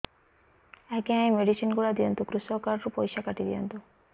ଆଜ୍ଞା ଏ ମେଡିସିନ ଗୁଡା ଦିଅନ୍ତୁ କୃଷକ କାର୍ଡ ରୁ ପଇସା କାଟିଦିଅନ୍ତୁ